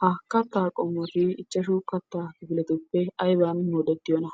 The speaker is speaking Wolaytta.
Ha kattaa qommoti ichchashshu kattaa kifiletuppe ayban moodettiyona?